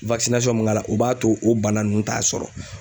mun k'a la o b'a to o bana nunnu t'a sɔrɔ.